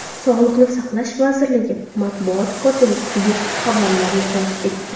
Sog‘liqni saqlash vazirligi matbuot kotibi bu xabarlarni rad etdi .